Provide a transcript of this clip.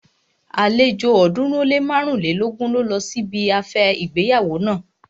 Àlejò ọ̀ọ́dúnrún ó lé márùnlélógún ló lọ sí ibi afẹ́ ìgbéyàwó naa